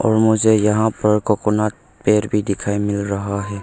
और मुझे यहां पर कोकोनट पेड़ भी दिखाई मिल रहा है।